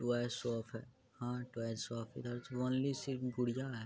Toy shop है। हाँ toy shop है। इधर तो वनली सिर्फ गुड़ियां है।